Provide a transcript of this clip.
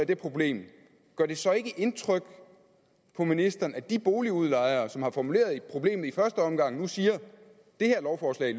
det problem gør det så ikke indtryk på ministeren at de boligudlejere som har formuleret problemet i første omgang nu siger at det her lovforslag